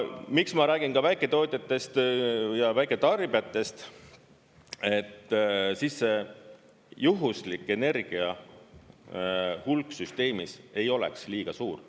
Miks ma räägin väiketootjatest ja väiketarbijatest: siis see juhuslik energia hulk süsteemis ei oleks liiga suur.